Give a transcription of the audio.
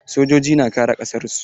Sojoji na kare ƙasar su.